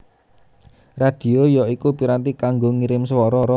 Radhio ya iku piranti kanggo ngirim swara